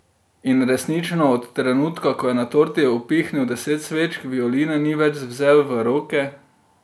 In resnično, od trenutka, ko je na torti upihnil deset svečk, violine ni več vzel v roke.